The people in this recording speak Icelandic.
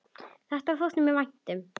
Þetta þótti mér vænt um.